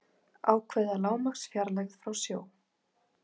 ákveða lágmarksfjarlægð frá sjó